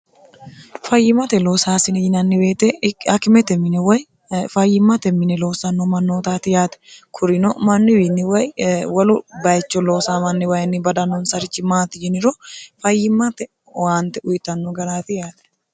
fayyimate loosaasine yinanni weete akimete mine woy fayyimmate mine loosanno mannootaati yaate kurino manni wiinni way walu bayicho loosaamanni wayinni badannonsarichi maati yiniro fayyimmate owaante uyitanno garaati yaate